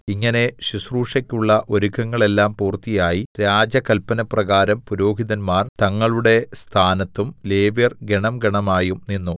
ഇങ്ങനെ ശുശ്രൂഷക്കുള്ള ഒരുക്കങ്ങളെല്ലാം പൂർത്തിയായി രാജകല്പനപ്രകാരം പുരോഹിതന്മാർ തങ്ങളുടെ സ്ഥാനത്തും ലേവ്യർ ഗണം ഗണമായും നിന്നു